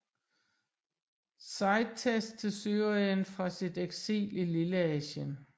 Sidetes til Syrien fra sit eksil i Lilleasien